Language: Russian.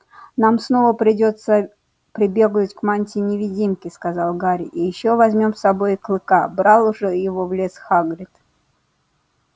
нам снова придётся прибегнуть к мантии-невидимке сказал гарри и ещё возьмём с собой клыка брал же его в лес хагрид